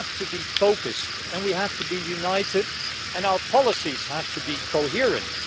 We have to be focused, we have to be united and our policies have to be coherent.